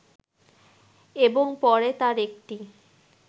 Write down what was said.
এবং পরে তার একটি